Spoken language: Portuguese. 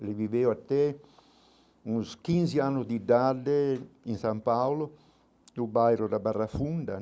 Ele viveu até uns quinze anos de idade em São Paulo, do bairro da Barra Funda.